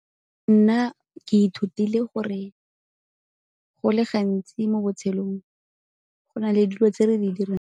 Nna ke ithutile gore go le gantsi mo botshelong go na le dilo tse re di dirang.